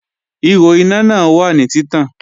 Ihò iná náà wà ní títàn